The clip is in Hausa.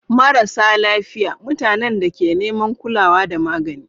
Marasa lafiya: Mutanen da ke neman kulawa da magani.